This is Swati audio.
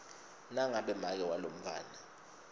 nangabe make walomntfwana